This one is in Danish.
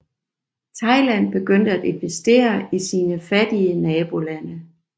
Thailand begyndte at investere i sine fattige nabolande